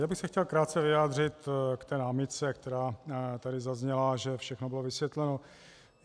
Já bych se chtěl krátce vyjádřit k té námitce, která tady zazněla, že všechno bylo vysvětleno.